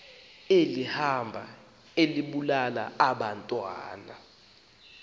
elihamba libulala abantwana